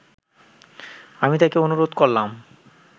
আমি তাকে অনুরোধ করলাম